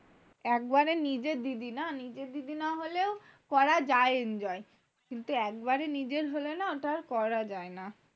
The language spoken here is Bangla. একবার নিজের দিদি না, নিজের দিদি না হলেও করা যায় enjoy কিন্তু, একবারে নিজের হলে না ওটা আর করা যায় না।